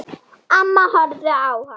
Amma horfði á hana.